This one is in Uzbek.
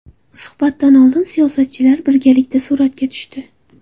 Suhbatdan oldin siyosatchilar birgalikda suratga tushdi.